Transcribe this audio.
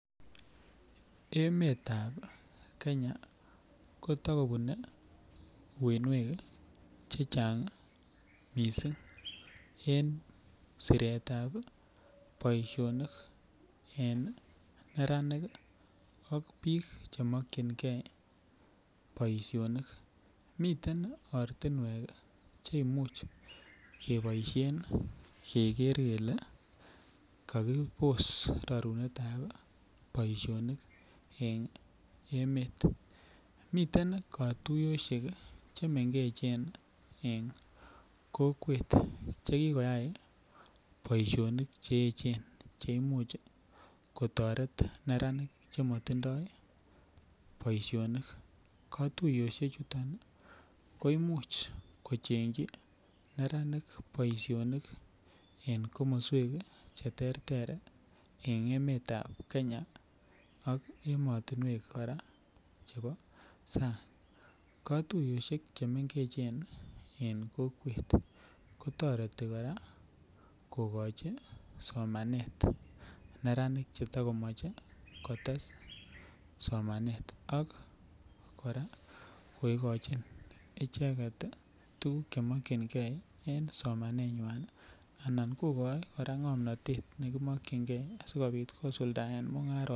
Emetab kenya kotokobune uinwek chechang missing en siretab boisionik en neranik ak biik chemokyingee boisionik, miten ortinwek cheimuch keboisien keker kele kakibos rorunetab boisionik en emet miten ii katuiyosiek chemengechen en kokwet chekikoyai boisionik che echen cheimuch kotoret neranik chemotindoo boisionik, katuiyosiechuton koimuch kochengyi neranik boisionik en komoswek cheterter en emetab kenya ak emotinywek kora chepo sang katuiyosiek chemengechen en kokwet kotoreti kora kokochi somanet neranik cheto komoche kotes somanet ak kora kokochi icheket ii tukuk chemokyinge en somanenywan alan kokoi kora ng'omnotet nekimokyinge asikobit kosuldaen mung'arosiekwak.